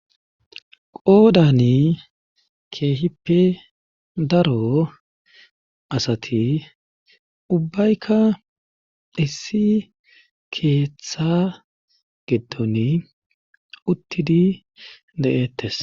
Qoodani keehippe daro asati ubbaykka issi keeththa giton uttidi de'tes.